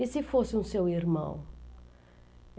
E se fosse um seu irmão?